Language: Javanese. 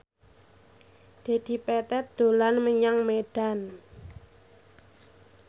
Dedi Petet dolan menyang Medan